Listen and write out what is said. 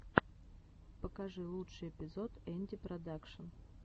покажи лучший эпизод энди продакшн